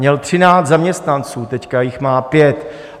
Měl 13 zaměstnanců, teď jich má pět.